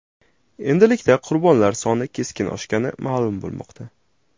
Endilikda qurbonlar soni keskin oshgani ma’lum bo‘lmoqda.